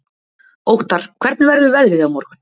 Óttarr, hvernig verður veðrið á morgun?